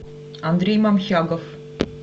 андрей мамхягов